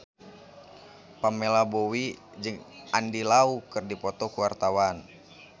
Pamela Bowie jeung Andy Lau keur dipoto ku wartawan